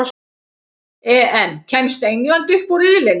EM: Kemst England upp úr riðlinum?